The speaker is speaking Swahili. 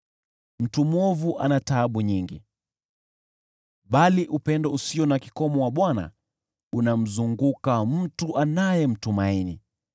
Mtu mwovu ana taabu nyingi, bali upendo usio na kikomo wa Bwana unamzunguka mtu anayemtumaini.